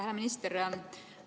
Hea minister!